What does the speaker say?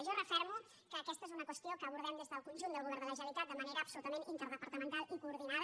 jo refermo que aquesta és una qüestió que abordem des del conjunt del govern de la generalitat de manera absolutament interdepartamental i coordinada